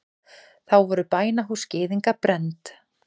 Þá voru bænahús gyðinga brennd.